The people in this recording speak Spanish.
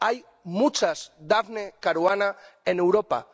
Hay muchas Daphne Caruana en Europa.